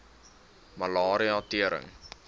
malaria tering